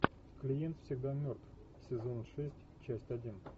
клиент всегда мертв сезон шесть часть один